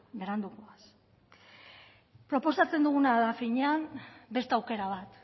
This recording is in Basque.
berandu goaz proposatzen duguna da finean beste aukera bat